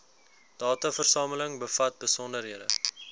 dataversameling bevat besonderhede